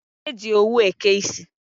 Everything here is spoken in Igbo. E ji owu eke isi.